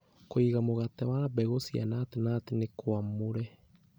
Kũiga mũgate wa mbegũ cia nut nut nĩ kwamũre